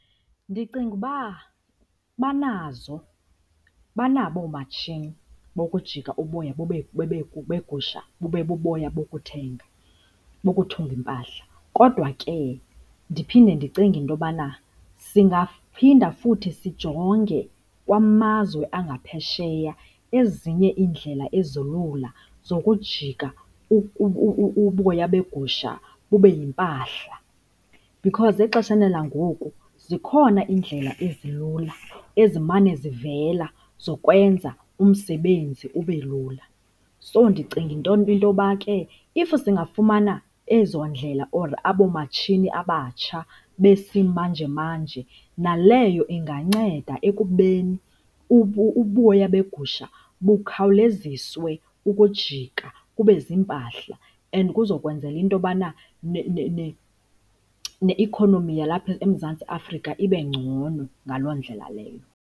Ndicinga uba banazo, banabo oomatshini bokujika uboya beegusha bube buboya bokuthenga, bokuthunga iimpahla. Kodwa ke, ndiphinde ndicinge into yobana singaphinda futhi sijonge kwamazwe angaphesheya ezinye iindlela ezilula zokujika uboya begusha bube yimpahla, because exesheni langoku zikhona iindlela ezilula ezimane zivela zokwenza umsebenzi ube lula. So, ndicinga into yoba ke if singafumana ezo ndlela or abo matshini abatsha besimanje-manje naleyo inganceda ekubeni uboya begusha bukhawuleziswe ukujika bube ziimpahla and kuza kwenzela into yobana neikhonomi yalapha eMzantsi Afrika ibe ngcono ngaloo ndlela leyo.